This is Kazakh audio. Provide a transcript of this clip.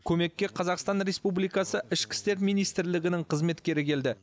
көмекке қазақстан республикасы ішкі істер министрлігінің қызметкері келді